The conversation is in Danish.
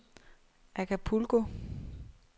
Acapulco